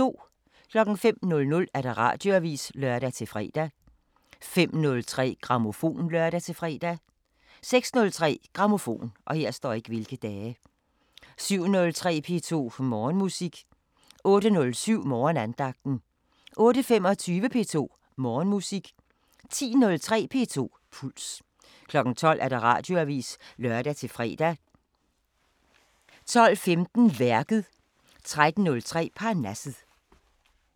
05:00: Radioavisen (lør-fre) 05:03: Grammofon (lør-fre) 06:03: Grammofon 07:03: P2 Morgenmusik 08:07: Morgenandagten 08:25: P2 Morgenmusik 10:03: P2 Puls 12:00: Radioavisen (lør-fre) 12:15: Værket 13:03: Parnasset